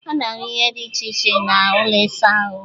A na-ahụ ihe dị iche iche n'ụlọ ịsa ahụ